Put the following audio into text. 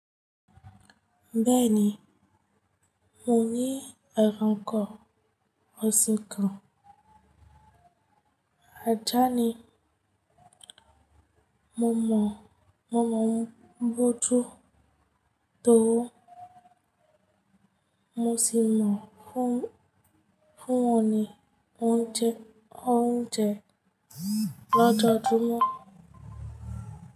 Bẹ́ẹ̀ni, mo ní ẹranko ọ̀sìn kan. Ajá ni. Mo mọ̀, mo mọ̀ bó tọ́, mo sì mọ̀ fún, fún ọ̀nì oúnjẹ, oúnjẹ lọ́jọ́ júmọ̀